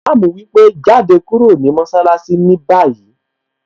Ìmáàmù wípé 'Jáde kúrò ní mọṣálásí ní báyìí!